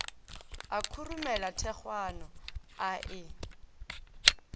a khurumela thekgwana a e